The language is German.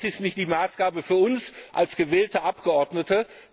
Aber das ist nicht die Maßgabe für uns als gewählte Abgeordnete.